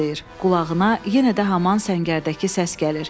Qulağına yenə də haman səngərdəki səs gəlir.